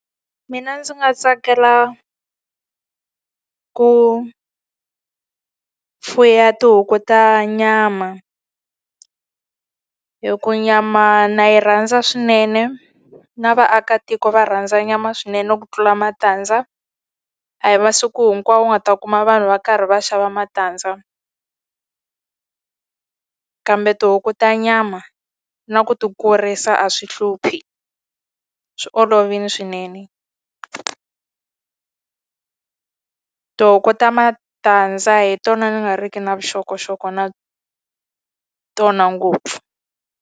Mina ndzi nga tsakela ku fuwa tihuku ta nyama, hikuva nyama na yi rhandza swinene na vaakatiko va rhandza nyama swinene ku tlula matandza. A hi masiku hinkwawo u nga ta kuma vanhu va karhi va xava matandza. Kambe tihuku ta nyama, na ku ti kurisa a swi hluphi swi olovile swinene. Tihuku ta matandza hi tona ni nga ri ki na vuxokoxoko na tona ngopfu.